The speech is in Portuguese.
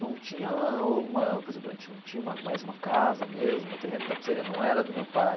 Não tinha uma por exemplo a gente não tinha mais uma casa mesmo, o terreno da pizzaria não era do meu pai.